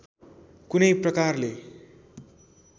कुनै प्रकारले